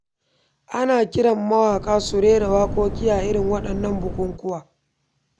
Ana kiran mawaƙa su rera waƙoƙi a irin waɗannan bukukkuwa.